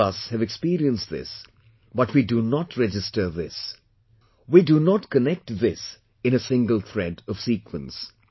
All of us have experienced this but we do not register this, we do not connect this in a single thread of sequence